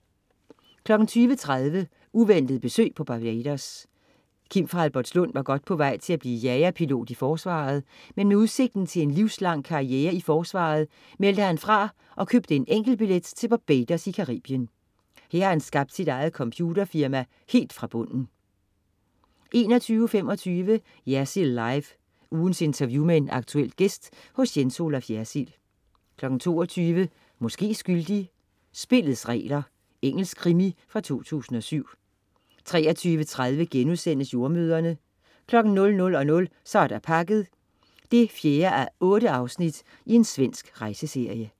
20.30 Uventet besøg på Barbados. Kim fra Albertslund var godt på vej til at blive jagerpilot i forsvaret, men med udsigten til livslang karriere i forsvaret meldte han fra og købte en enkeltbillet til Barbados i Caribien. Her har han skabt sit eget computerfirma helt fra bunden 21.25 Jersild Live. Ugens interview med en aktuel gæst hos Jens Olaf Jersild 22.00 Måske skyldig. Spillets regler. Engelsk krimi fra 2007 23.30 Jordemødrene* 00.00 Så er der pakket 4:8 . Svensk rejseserie